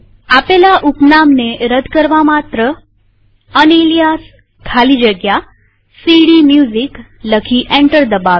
આપેલા ઉપનામને રદ કરવા માત્ર યુનાલિયાસ ખાલી જગ્યા સીડીમ્યુઝિક લખી એન્ટર દબાવીએ